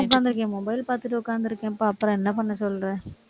உட்கார்ந்து இருக்கேன் mobile பார்த்துட்டு, உட்கார்ந்து இருக்கேன்ப்பா, அப்புறம் என்ன பண்ண சொல்ற